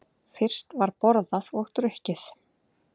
Fyrst var borðað og drukkið.